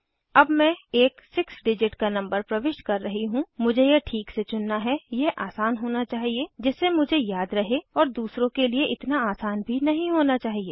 अब मैं एक 6 डिजिट का नंबर प्रविष्ट कर रही हूँ मुझे यह ठीक से चुनना है यह आसान होना चाहिए जिससे मुझे याद रहे और दूसरों के लिए इतना आसान भी नहीं होना चाहिए